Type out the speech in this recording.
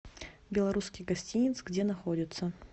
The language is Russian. белорусский гостинец где находится